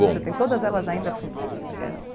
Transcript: Bom Você tem todas elas ainda fun eh eh?